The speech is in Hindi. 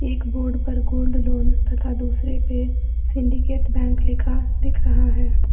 एक बोर्ड पर गोल्ड लोन तथा दूसरे पे सिंडिकेट बैंक लिखा दिख रहा है।